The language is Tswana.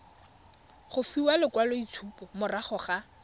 go fiwa lekwaloitshupo morago ga